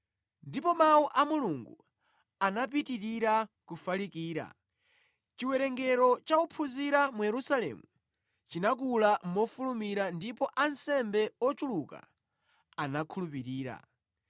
Ndipo Mawu a Mulungu anapitirira kufalikira. Chiwerengero cha ophunzira mu Yerusalemu chinakula mofulumira ndipo ansembe ochuluka anakhulupirira.